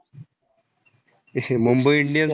Mumbai indian